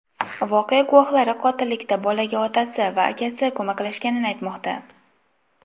Voqea guvohlari qotillikda bolaga otasi va akasi ko‘maklashganini aytmoqda.